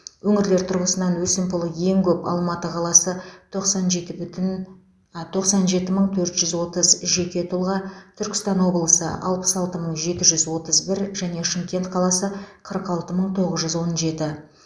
өңірлер тұрғысынан өсімпұлы ең көп алматы қаласы тоқсан жеті мың төрт жүз отыз жеке тұлға түркістан облысы алпыс алты мың жеті жүз отыз бір және шымкент қаласы қырық алты мың тоғыз жүз он жеті